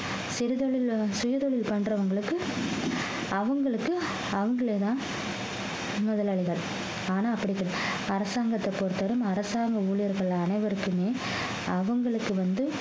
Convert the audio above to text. சிறு தொழில்ல சிறு தொழில் பண்றவங்களுக்கு அவங்களுக்கு அவங்களேதான் முதலாளிகள் ஆனா அப்படி கிடையாது அரசாங்கத்தை பொறுத்தவரையும் அரசாங்க ஊழியர்கள் அனைவருக்குமே அவங்களுக்கு வந்து